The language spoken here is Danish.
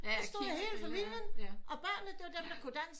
Det stod hele familien og børnene det var dem der kunne dansk